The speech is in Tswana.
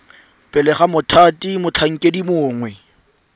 pele ga mothati motlhankedi mongwe